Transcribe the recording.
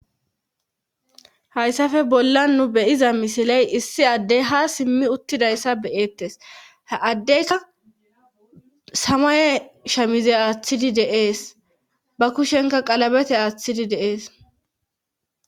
hayssafe bolla nu beyiza misiley issi addey ha simmi uttidayssa beyettes addeyka samay shamize aaththidi deees ba kushenka qalabete aaththidi deees